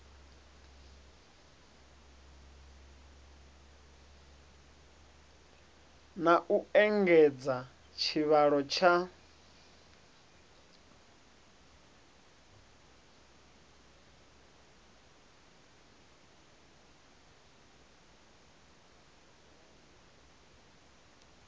na u engedza tshivhalo tsha